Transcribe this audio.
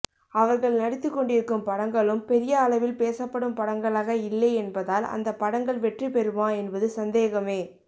அவர்கள் நடித்துக்கொண்டிருக்கும் படங்களும் பெரிய அளவில் பேசப்படும் படங்களாக இல்லை என்பதால் அந்த படங்கள் வெற்றி பெறுமா என்பது சந்தேகமே